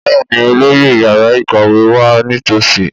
Bẹ́ẹ̀ni olóyè yàrá ìkàwé wá nítòsí